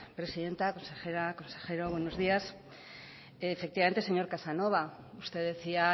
presidenta consejera consejero buenos días efectivamente señor casanova usted decía